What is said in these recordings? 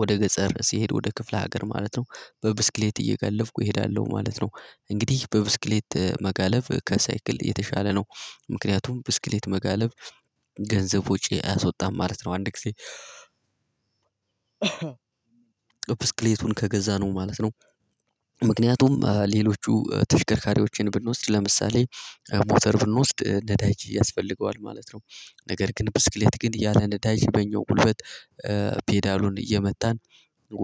ወደ ገጠር ሲሄድ ወደ ክፍለ ሀገር ማለት ነው። በብስክሌት እየጋለብኩ እሄዳለሁ ማለት ነው። እንግዲህ በብስክሌት መጋለብ ከሳይክል የተሻለ ነው። ምክንያቱም ብስክሌት መጋለብ ገንዘብ ውጪ አያወጣም ማለት ነው። አንድ ጊዜ ብስክሌቱን ከገዛ ነው ማለት ነው። ምክንያቱም ሌሎቹ ተሽከርካሪዎችን ብንወስድ ለምሳሌ ሞተር ብንወስድ ነዳጅ ያስፈልገዋል ማለት ነው። ነገር ግን ብስክሌት ግን እያለ ነዳጅ በኛው ጉልበት። ፔዳሉን እየመታን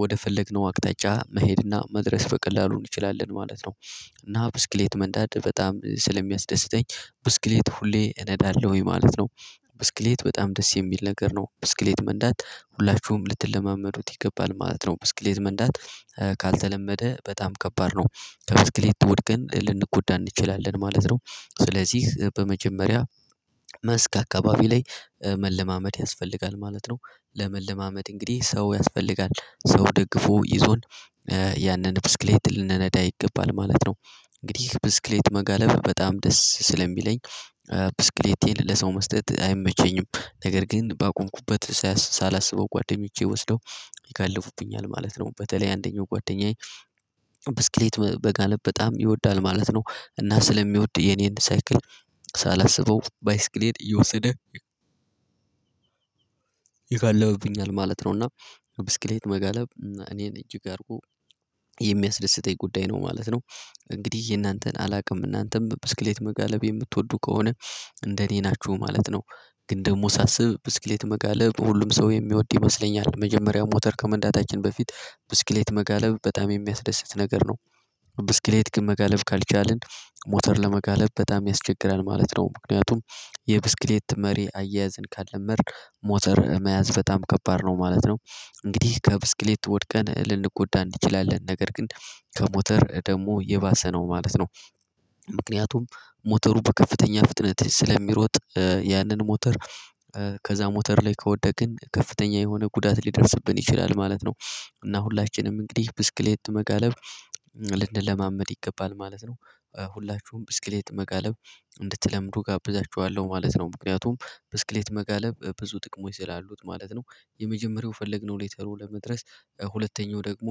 ወደ ፈለግነው አቅጣጫ መሄድና መድረስ በቀላሉን እንችላለን ማለት ነው። እና ብስክሌት መንዳት በጣም ስለሚያስደስተኝ ብስክሌት ሁሌ እነዳለሁኝ ማለት ነው። ብስክሌት በጣም ደስ የሚል ነገር ነው ብስክሌት መንዳት ሁላችሁም ልትለማመዱት ይገባል ማለት ነው። ብስክሌት መንዳት ካልተለመደ በጣም ከባድ ነው እብስክሌት ትወድቀን ልንጎዳ እንችላለን ማለት ነው። ስለዚህ በመጀመሪያ መስክ አካባቢ ላይ ያስፈልጋል ማለት ነው። ለመለማመድ እንግዲህ ሰው ያስፈልጋል ሰው ደግፎ ይዞን ያንን ብስክሌት ልንነዳ ይገባል ማለት ነው። እንግዲህ ብስክሌት መጋለብ በጣም ደስ ስለሚለኝ ብስክሌቴን ለሰው መስጠት አይመቸኝም። ነገር ግን ባቆምኩበት ሳላስበው ጓደኞቼ ወስደው ይጋልቡብኛል ማለት ነው። በተለይ አንደኛው ጓደኛዬ ብስክሌት መጋለብ በጣም ይወዳል ማለት ነው። እና ስለሚወድ የኔን ሳይክል ሳላስበው ባይስክሌን እየወሰደ ይጋልብብኛል ማለት ነው። እና ብስክሌት መጋለብ እና እኔን እጅግ አድርጎ ጉዳይ ነው ማለት ነው። እንግዲህ የእናንተን አላውቅም እናንተም ብስክሌት መጋለብ የምትወዱ ከሆነ እንደኔ ናችሁ ማለት ነው። ግን ደግሞ ሳስብ ብስክሌት መጋለብ ሁሉም ሰው የሚወድ ይመስለኛል መጀመሪያው ሞተር ከመንዳታችን በፊት ብስክሌት መጋለብ በጣም የሚያስደስት ነገር ነው። ብስክሌት ግን መጋለብ ካልቻልን ሞተር ለመጋለብ በጣም ያስቸግራል ማለት ነው። ምክንያቱም የብስክሌት መሪ አያያዝን ካልለመድን ሞተር መያዝ በጣም ከባድ ነው ማለት ነው። እንግዲህ ከብስክሌት ወድቀን ልንጎዳ እንድችላለን ነገር ግን ከሞተር ደግሞ የባሰ ነው ማለት ነው። ምክንያቱም ሞተሩ በከፍተኛ ፍጥነት ስለሚሮጥ ያንን ሞተር ከዛ ሞተር ላይ ከወደቅን ከፍተኛ የሆነ ጉዳት ሊደርስብን ይችላል ማለት ነው። እና ሁላችንም እንግዲህ ብስክሌት መጋለብ ልንለማመድ ይገባል ማለት ነው። ሁላችሁም ብስክሌት መጋለብ እንድትለምዱ እጋብዛችኋለሁ ማለት ነው። ምክንያቱም ብስክሌት መጋለብ ብዙ ጥቅሞች ስላሉት ማለት ነው። የመጀመሪያው የፈለግነው ሌተሩ ለመድረስ ሁለተኛው ደግሞ